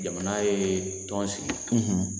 Jamana ye tɔn sigi